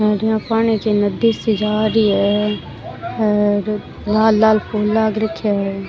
और यहाँ पानी की नदी सी जा रही है और लाल लाल फूल लाग रख्या है।